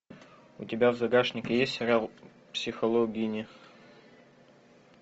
у тебя в загашнике есть сериал психологини